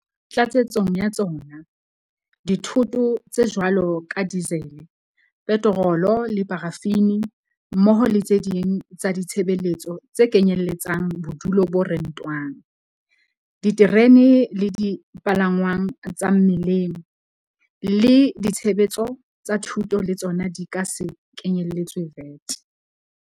Tlatsetsong ya tsona, dithoto tse jwalo ka dizele, petorolo le parafini, mmoho le tse ding tsa ditshebeletso tse kenyelletsang bodulo bo rentwang, diterene le dipalangwang tsa mmileng le ditshebeletso tsa thuto le tsona di ka se kenyeletswe VAT.